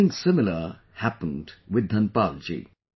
Something similar happened with Dhanpal ji